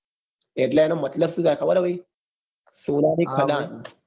એટલે એનો મતલબ સુ થાય ભાઈ? સુ સોનાની ખદાન